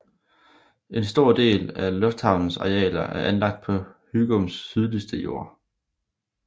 En stor del af lufthavnens arealer er anlagt på Hygums sydligste jord